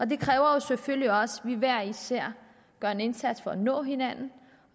det kræver jo selvfølgelig også at vi hver især gør en indsats for at nå hinanden